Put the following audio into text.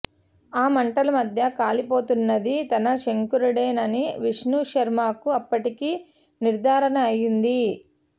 ఆ మంటల మధ్య కాలిపోతున్నది తన శంకరుడేనని విష్ణుశర్మకు అప్పటికి నిర్ధారణ అయింది